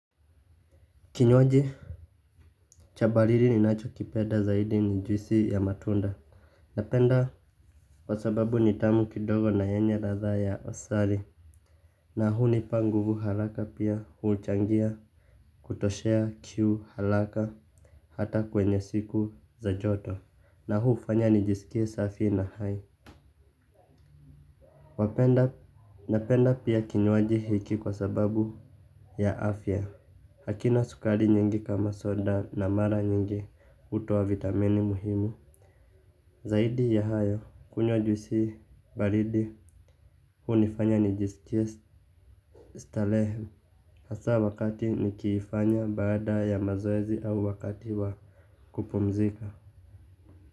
Kinywaji cha baridi ninachokipenda zaidi ni juisi ya matunda. Napenda kwa sababu ni tamu kidogo na yenye radha ya asali. Na hunipa nguvu haraka pia huchangia kutoshea kiu halaka hata kwenye siku za joto. Na huu hufanya nijisikie safi na hai. Napenda pia kinywaji hiki kwa sababu ya afya. Hakina sukari nyingi kama soda na mara nyingi hutoa vitamini muhimu. Zaidi ya hayo, kunywa juisi baridi, hunifanya nijiskie, stalehe, hasa wakati nikifanya baada ya mazoezi au wakati wa kupumzika.